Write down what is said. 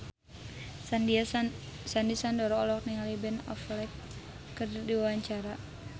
Sandy Sandoro olohok ningali Ben Affleck keur diwawancara